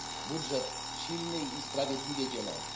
Budżet silny i sprawiedliwie dzielony.